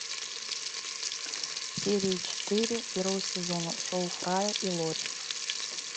серия четыре первого сезона шоу фрая и лори